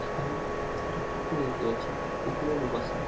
এখানে একটা পুকুর দেখতে পাচ্ছি পুকুর এর ওপাশে--